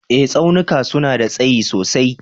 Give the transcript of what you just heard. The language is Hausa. Eh Tsaunuka suna da tsayi sosai.